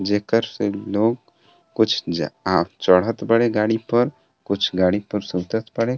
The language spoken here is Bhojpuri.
जेकर से लोग कुछ जा आ चढ़त बाड़े गाड़ी पर कुछ गाड़ी पर से उतरत बाड़े।